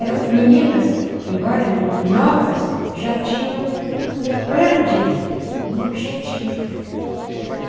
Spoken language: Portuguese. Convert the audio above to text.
Eram meninas, embora novas, já tinham um plano de vida, um objetivo.